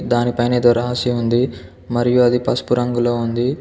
దానిపైనే ఏదో రాసి ఉంది మరియు అది పసుపు రంగులో ఉంది.